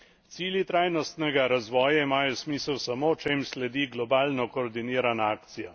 Cilji trajnostnega razvoja imajo smisel samo, če jim sledi globalno koordinirana akcija.